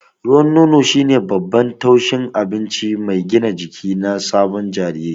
Ruwan nono shine babban tushen abinci mai gina jiki na sabon jariri.